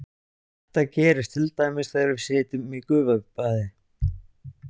Þetta gerist til dæmis þegar við sitjum í gufubaði.